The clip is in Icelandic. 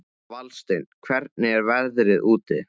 Valsteinn, hvernig er veðrið úti?